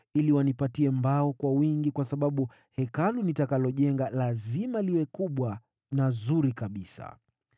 ili wanipatie mbao kwa wingi kwa sababu Hekalu nitakalojenga lazima liwe kubwa na zuri kabisa.